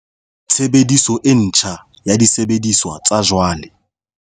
Tshebediso e ntjha ya disebediswa tsa jwale